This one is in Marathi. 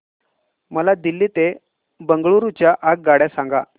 मला दिल्ली ते बंगळूरू च्या आगगाडया सांगा